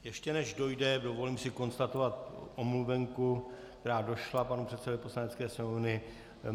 Ještě než dojde, dovolím si konstatovat omluvenku, která došla panu předsedovi Poslanecké sněmovny.